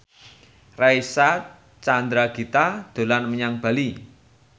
Reysa Chandragitta dolan menyang Bali